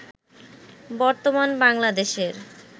বর্তমান বাংলাদেশের